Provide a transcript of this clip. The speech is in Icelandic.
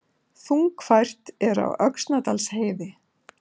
Þungfært er á Öxnadalsheiði